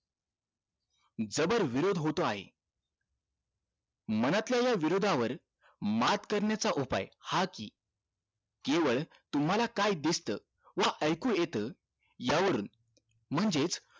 जबर विरोध होतो आहे मनातल्या या विरोध वर मात करण्याचं उपाय हा कि केवळ तुम्हाला काय दिसत व ऐकू येत या वरून म्हणजेच